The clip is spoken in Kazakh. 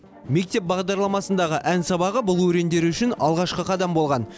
мектеп бағдарламасындағы ән сабағы бұл өрендер үшін алғашқы қадам болған